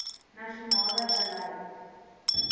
nasionale beleid t